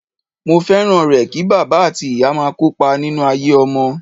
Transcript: Mo fẹ́ràn rẹ̀ kí bàbá àti ìyá máa kópa nínú ayé ọmọ.